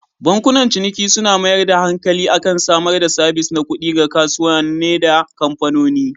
Bankunan ciniki suna mayar da hankali akan samar da sabis na kuɗi ga kasuwane da kamfanoni.